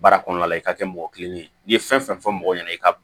Baara kɔnɔna la i ka kɛ mɔgɔ kilennen ye n'i ye fɛn fɛn fɔ mɔgɔ ɲɛna i ka